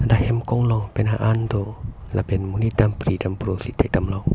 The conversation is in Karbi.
hem konglong penang an do lapen monit dam pri dam pro si thek dam long.